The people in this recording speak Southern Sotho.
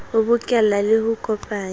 ho bokella le ho kopanya